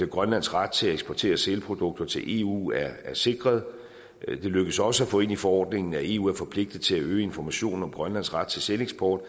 grønlands ret til at eksportere sælprodukter til eu er sikret det lykkedes også at få ind i forordningen at eu er forpligtet til at øge informationen om grønlands ret til sæleksport